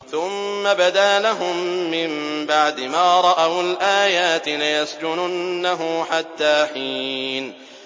ثُمَّ بَدَا لَهُم مِّن بَعْدِ مَا رَأَوُا الْآيَاتِ لَيَسْجُنُنَّهُ حَتَّىٰ حِينٍ